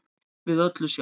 við öllu sjá